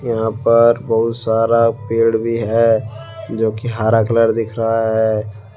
यहां पर बहुत सारा पेड़ भी है जो कि हर कलर दिख रहा है।